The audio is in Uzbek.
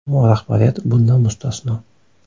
Ammo rahbariyat bundan mustasno.